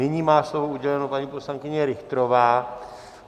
Nyní má slovo uděleno paní poslankyně Richterová.